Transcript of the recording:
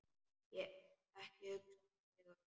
Ekki hugsa þig um.